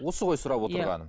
осы ғой сұрап отырғаным иә